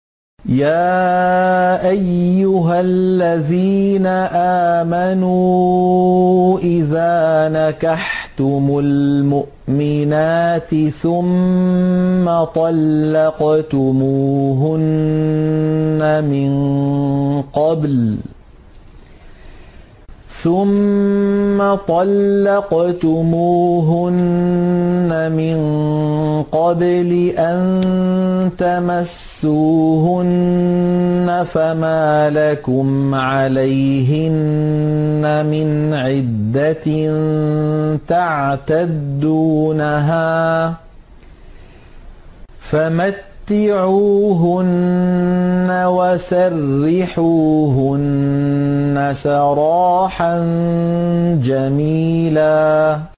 يَا أَيُّهَا الَّذِينَ آمَنُوا إِذَا نَكَحْتُمُ الْمُؤْمِنَاتِ ثُمَّ طَلَّقْتُمُوهُنَّ مِن قَبْلِ أَن تَمَسُّوهُنَّ فَمَا لَكُمْ عَلَيْهِنَّ مِنْ عِدَّةٍ تَعْتَدُّونَهَا ۖ فَمَتِّعُوهُنَّ وَسَرِّحُوهُنَّ سَرَاحًا جَمِيلًا